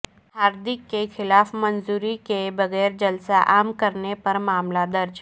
ہاردک کے خلاف منظوری کے بغیر جلسہ عام کرنے پر معاملہ درج